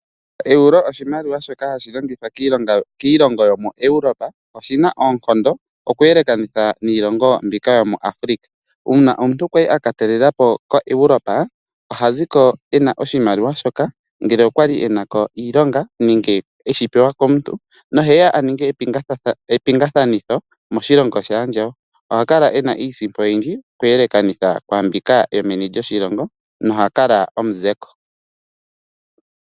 Eeuro oshimaliwa shoka hashi longithwa kiilongo yomu Europa, oshina oonkondo oku yelekanitha niilongo mbika yomuAfrika. Uuna omuntu kwa li aka talelapo ko Europa oha ziko ena oshimaliwa shoka ngele okwa li enako iilonga nenge eshipewa komuntu, na oheya aninge epingathanitho moshilongo shaandjawo, oha kala ena iisipo oyindji oku yelekanitha kwaambika yomeni lyoshilongo na oha kala omuzeko.